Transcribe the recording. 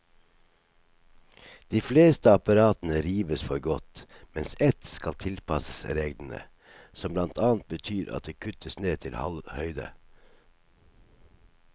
De fleste apparatene rives for godt, mens ett skal tilpasses reglene, som blant annet betyr at det kuttes ned til halv høyde.